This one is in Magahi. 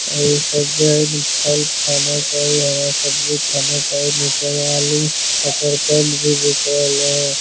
आर इ सब जे है न फल खाना चाहि हरा सब्जी खाना चाहि मिर्चा आलू सकरकंद भी बिख रहले है।